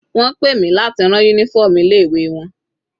Wọ́n pè mi láti rán uniform ilé ìwé wọn.